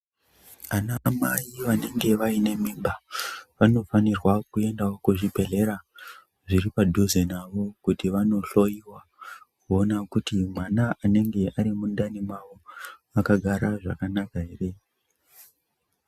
Anamai vanenge vaine mimba vanofanirwa kuendavo kuzvibhedhlera zviri padhuze navo kuti vanohloiwa. Kuona kuti mwana anenge ari mundani mavo akagara zvakanaka ere.